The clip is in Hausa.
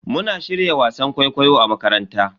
Muna shirya wasan kwaikwayo a makaranta.